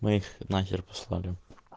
мы их на хер послали